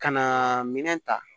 Ka na minɛn ta